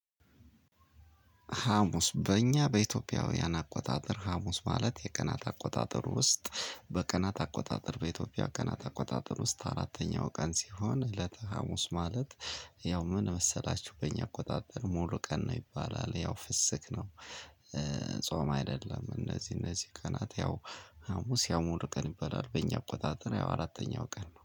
ሀሙስ በእኛ በኢትዮጵያውያን አቆጣጠር ሀሙስ ማለት የቀናት አቆጣጠር ውስጥ በቀናት አቆጣጠር በኢትዮጵያ ቀናት አቆጣጠር ውስጥ አራተኛው ቀን ሲሆን እለተ ሀሙስ ማለት። ያው ምን መሰላችሁ በእኛ አቆጣጠር ሙሉ ቀን ነው ይባላል። ያው ፍስክ ነው እ ጾም አይደለም። እነዚህ እነዚህ ቀናት ያው ሀሙስ ያው ሙሉ ቀን ይባላል በእኛ አቆጣጠር ያው አራተኛው ቀን ነው